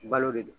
Balo de do